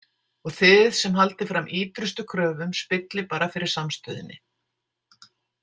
Og þið sem haldið fram ítrustu kröfum spillið bara fyrir samstöðunni.